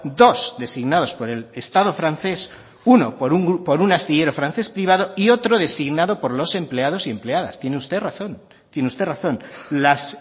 dos designados por el estado francés uno por un astillero francés privado y otro designado por los empleados y empleadas tiene usted razón tiene usted razón las